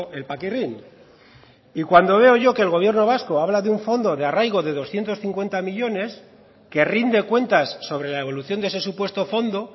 el paquirrín y cuando veo yo que el gobierno vasco habla de un fondo de arraigo de doscientos cincuenta millónes que rinde cuentas sobre la evolución de ese supuesto fondo